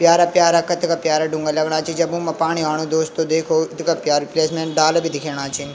प्यारा-प्यारा कथगा प्यारा ढुंगा लगणा छी जब उमां पाणी आणु दोस्तों देखो इथगा प्यारु प्लेस येम डाला भी दिखेणा छिन।